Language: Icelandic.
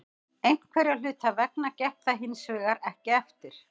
Einhverra hluta vegna gekk það hinsvegar ekki eftir.